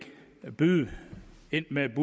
byde ind med en